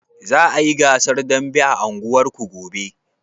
Za a yi gasar dambe a unguwarku gobe?